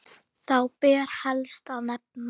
Þá ber helst að nefna